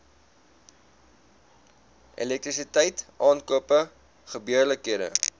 elektrisiteit aankope gebeurlikhede